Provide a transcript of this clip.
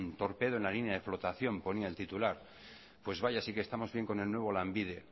torpedo en la línea de flotación ponía el titular pues vaya sí que estamos bien con el nuevo lanbide